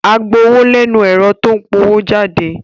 Áá gba owó lẹ́nu ẹ̀rọ tó ń powójáde